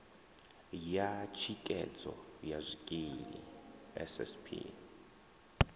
ya thikhedzo ya zwikili ssp